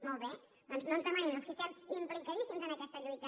molt bé doncs no ens demani als qui estem implicadíssims en aquesta lluita